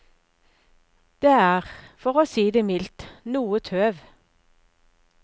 Det er, for å si det mildt, noe tøv.